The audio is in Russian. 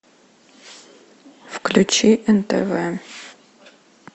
включи нтв